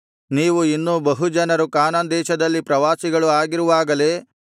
ನೀವು ಇನ್ನೂ ಬಹು ಜನರು ಕಾನಾನ್ ದೇಶದಲ್ಲಿ ಪ್ರವಾಸಿಗಳು ಆಗಿರುವಾಗಲೇ